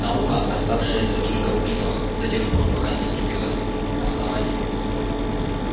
наука оставшаяся только в мифах до тех пор пока не вступилось основание